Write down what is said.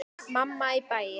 Mamma í bæinn.